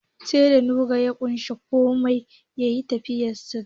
Sai da Nura ya kwashe komai ya fitar ya yi fentin gidan.